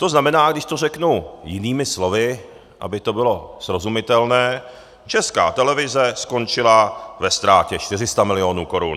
To znamená, když to řeknu jinými slovy, aby to bylo srozumitelné, Česká televize skončila ve ztrátě 400 milionů korun.